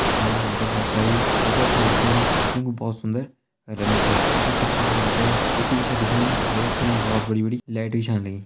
यमणा हम तें बहोत सारी टी शर्ट छन दिखेणी जू कुं बहोत सुंदर रंग छा यखि छत फणा हम तें ए.सी भी छा दिखेणु और यख फणी बहोत सारी लाइट भी छान लगीं।